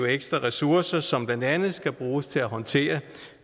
ekstra ressourcer som blandt andet skal bruges til at håndtere